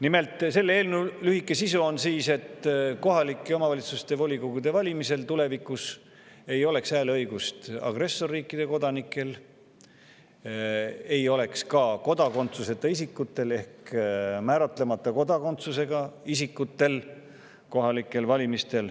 Nimelt, selle eelnõu lühike sisu on, et tulevikus ei oleks kohalike omavalitsuste volikogude valimistel hääleõigust agressorriikide kodanikel ega kodakondsuseta isikutel ehk määratlemata kodakondsusega isikutel.